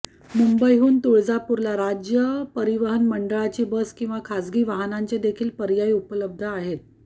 मुंबईहून तुळजापूरला राज्य परिवहन मंडळाची बस किंवा खासगी वाहनानांचेदेखील पर्याय उपलब्ध आहेत